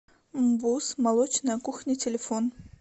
мбуз молочная кухня телефон